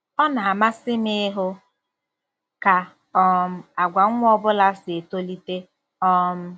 Ọ na-amasị m ịhụ ka um àgwà nwa ọ bụla si etolite um.